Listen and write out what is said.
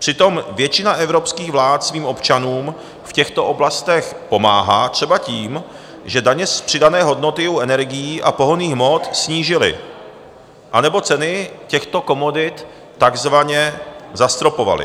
Přitom většina evropských vlád svým občanům v těchto oblastech pomáhá třeba tím, že daně z přidané hodnoty u energií a pohonných hmot snížily anebo ceny těchto komodit takzvaně zastropovaly.